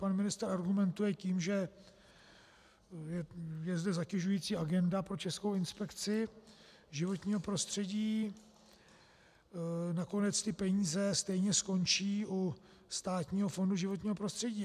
Pan ministr argumentuje tím, že je zde zatěžující agenda pro Českou inspekci životního prostředí, nakonec ty peníze stejně skončí u Státního fondu životního prostředí.